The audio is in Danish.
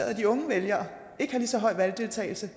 at de unge vælgere ikke har lige så høj valgdeltagelse